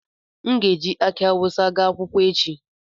M ga-eji akị awụsa gaa akwụkwọ echi